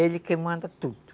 Ele que manda tudo.